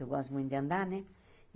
Eu gosto muito de andar, né?